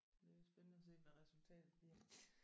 Det er jo spændende at se hvad resultatet bliver